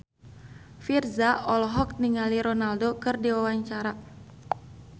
Virzha olohok ningali Ronaldo keur diwawancara